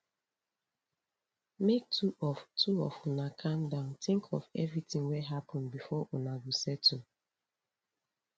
make two of two of una calm down tink of everytin wey happen before una go settle